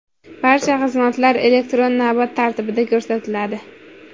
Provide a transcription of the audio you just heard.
Barcha xizmatlar elektron navbat tartibida ko‘rsatiladi.